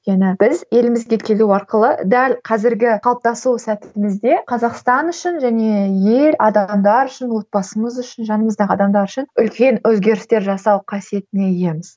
өйткені біз елімізге келу арқылы дәл қазірге қалыптасу сәтімізде қазақстан үшін және ел адамдар үшін отбасымыз үшін жанымыздағы адамдар үшін үлкен өзгерістер жасау қасиетіне иеміз